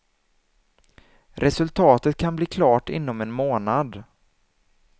Resultatet kan bli klart inom en månad.